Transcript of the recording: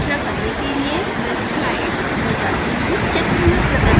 इसकी दोबारा व्याख्या करने के लिए मैं स्लाइड्स पर जाती हूँ